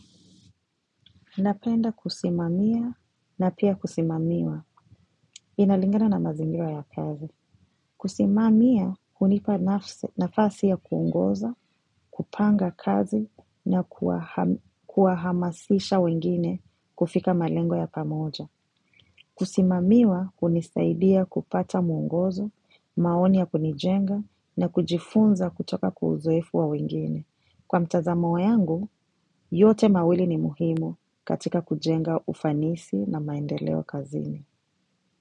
Napenda kusimamia na pia kusimamiwa inalingana na mazingira ya kazi. Kusimamia hunipa nafasi ya kuongoza, kupanga kazi na kuwahamasisha wengine kufika malengo ya pamoja. Kusimamiwa hunisaidia kupata mwongozo, maoni ya kunijenga na kujifunza kutoka kwa uzoefu wa wengine. Kwa mtazamo yangu, yote mawili ni muhimu katika kujenga ufanisi na maendeleo kazini.